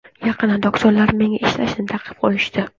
Yaqinda doktorlar menga ishlashni taqiqlab qo‘yishdi.